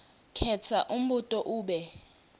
khetsa umbuto ube